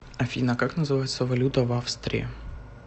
афина как называется валюта в австрии